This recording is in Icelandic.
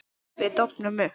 Við dofnum upp.